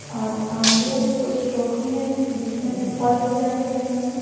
और आगे कुछ टोकरी है जिसमें फल भी रखे हुए हैं।